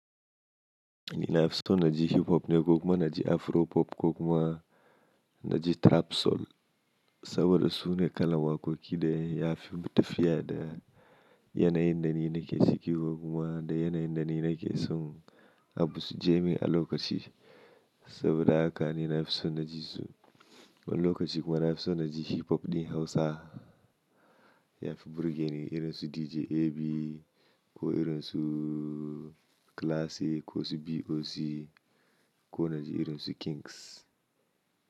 Ni nafison na ji hip hop ne ko kuma na ji afro pop ko kuma na ji trap soul saboda su ne kalan waƙoƙi da ya fi tafiya da yanayin da ni nake ciki ko kuma da yanayin da ni nake son abu suje min a lokaci. Saboda haka ni nafison na ji su. A lokaci kuma nafison na ji hip hop ɗin Hausa ya fi burge ni irin su DJ AB ko irin su Classique ko su BOC ko na ji irin su Kings.